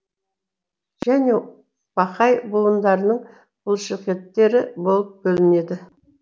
және бақай буындарының бұлшықеттері болып бөлінеді